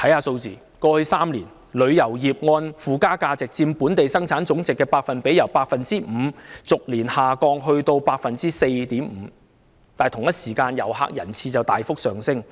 看看過去3年的數字，旅遊業附加值佔本地生產總值的百分比，由 5% 逐年下降至 4.5%， 但同一時間，遊客人次卻大幅上升。